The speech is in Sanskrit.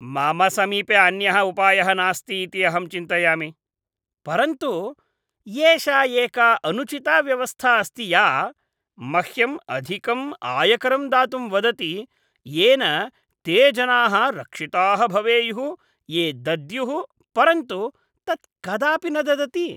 मम समीपे अन्यः उपायः नास्ति इति अहं चिन्तयामि, परन्तु एषा एका अनुचिता व्यवस्था अस्ति या मह्यम् अधिकम् आयकरं दातुं वदति येन ते जनाः रक्षिताः भवेयुः ये दद्युः परन्तु तत् कदापि न ददति।